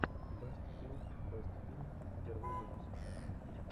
бэст филм бэст фильм первый выпуск